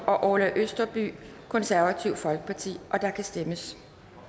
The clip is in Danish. og orla østerby og der kan stemmes